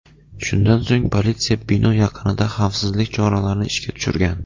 Shundan so‘ng politsiya bino yaqinida xavfsizlik choralarini ishga tushirgan.